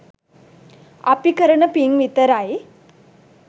අපි කරන පින් විතරයි.